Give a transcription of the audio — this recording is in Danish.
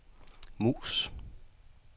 mus